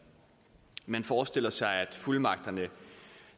man forestiller sig at fuldmagterne